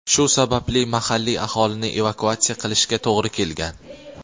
Shu sababli mahalliy aholini evakuatsiya qilishga to‘g‘ri kelgan.